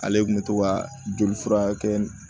Ale kun bɛ to ka joli furakɛ